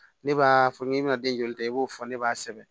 Ne b'a fɔ n'i bɛna den joli ta i b'o fɔ ne b'a sɛbɛn